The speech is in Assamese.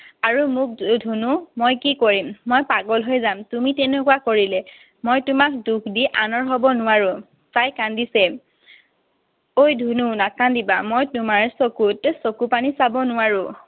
আৰু মোক ধুনু? মই কি কৰিম? মই পাগল হৈ যাম তুমি তেনেকুৱা কৰিলে। মই তোমাক দুখ দি আনৰ হব নোৱাৰো। তাই কান্দিছিল। অই, ধুনু, নাকান্দিবা। মই তোমাৰ চকুত চকুপানী চাব নোৱাৰো।